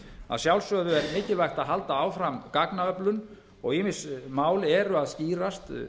að sjálfsögðu er mikilvægt að halda áfram gagnaöflun og ýmis mál eru að skýrast